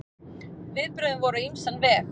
Viðbrögðin voru á ýmsan veg.